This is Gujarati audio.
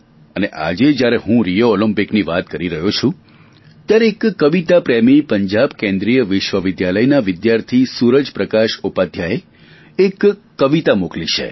અને આજે જ્યારે હું રિયો ઓલિમ્પિકની વાત કરી રહ્યો છું ત્યારે એક કવિતા પ્રેમી પંજાબ કેન્દ્રીય વિશ્વવિદ્યાલયના વિદ્યાર્થી સૂરજ પ્રકાશ ઉપાધ્યાયે એક કવિતા મોકલી છે